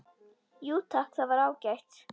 Jú takk, það var ágætt